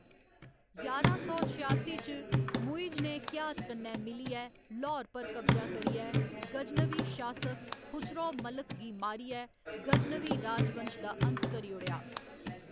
ञारां सौ छेआसी च मुइज ने घियात कन्नै मिलियै ल्हौर पर कब्जा करियै, गजनवी शासक खुसरौ मलिक गी मारियै गजनवी राजवंश दा अंत करी ओड़ेआ।